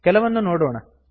ಕೆಲವನ್ನು ನೋಡೋಣ